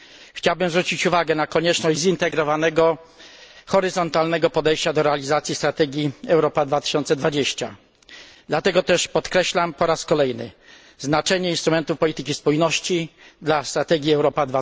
Chciałbym zwrócić uwagę na konieczność zintegrowanego horyzontalnego podejścia do realizacji strategii Europa 2020. Dlatego też podkreślam po raz kolejny znaczenie instrumentów polityki spójności dla strategii Europa